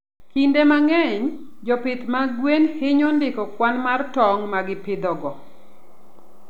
Kinde mang'eny, jopith mag gwen hinyo ndiko kwan mar tong' ma gipidhogo.